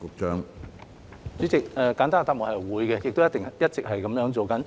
主席，簡單的答案是會的，亦一直是這樣做。